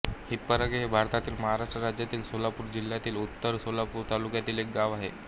हिप्परगे हे भारतातील महाराष्ट्र राज्यातील सोलापूर जिल्ह्यातील उत्तर सोलापूर तालुक्यातील एक गाव आहे